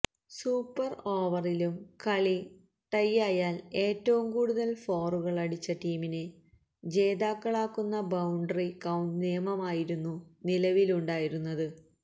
super ഓവറിലും കളി ടൈയായാല് ഏറ്റവും കൂടുതല് ഫോറുകളടിച്ച ടീമിനെ ജേതാക്കളാക്കുന്ന ബൌണ്ടറി കൌണ്ട് നിയമമായിരുന്നു നിലവിലുണ്ടായിരുന്നത്്